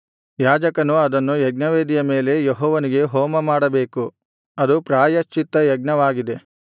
ಯಾಜಕನು ಅದನ್ನು ಯಜ್ಞವೇದಿಯ ಮೇಲೆ ಯೆಹೋವನಿಗೆ ಹೋಮಮಾಡಬೇಕು ಅದು ಪ್ರಾಯಶ್ಚಿತ್ತ ಯಜ್ಞವಾಗಿದೆ